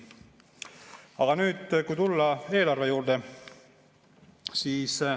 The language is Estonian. Aga nüüd tulen eelarve juurde.